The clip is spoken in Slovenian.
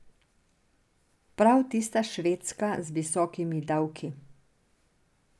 Prav tista Švedska z visokimi davki.